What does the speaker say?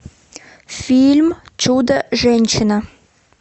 фильм чудо женщина